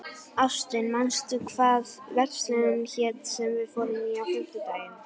Ástvin, manstu hvað verslunin hét sem við fórum í á fimmtudaginn?